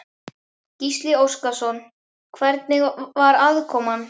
Gísli Óskarsson: Hvernig var aðkoman?